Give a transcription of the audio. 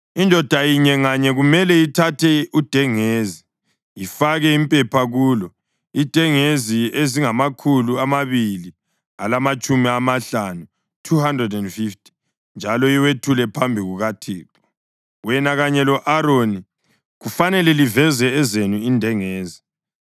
Indoda inye nganye kumele ithathe udengezi ifake impepha kulo, indengezi ezingamakhulu amabili alamatshumi amahlanu, (250) njalo iwethule phambi kukaThixo. Wena kanye lo-Aroni lani kufanele liveze ezenu indengezi.”